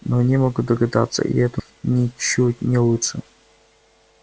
но они могут догадаться и это ничуть не лучше